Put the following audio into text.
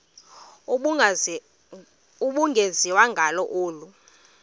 ubungenziwa ngalo olu